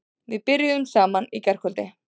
Við byrjuðum saman í gærkvöld.